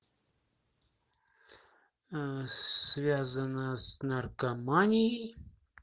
связано с наркоманией